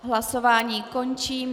Hlasování končím.